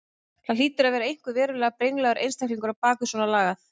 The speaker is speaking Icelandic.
Það hlýtur að vera einhver verulega brenglaður einstaklingur á bak við svona lagað.